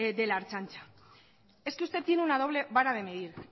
de la ertzaintza es que usted tiene una doble vara de medir